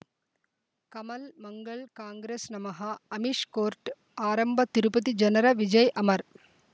ಕಮಲ್ ಮಂಗಳ್ ಕಾಂಗ್ರೆಸ್ ನಮಃ ಅಮಿಷ್ ಕೋರ್ಟ್ ಆರಂಭ ತಿರುಪತಿ ಜನರ ವಿಜಯ್ ಅಮರ್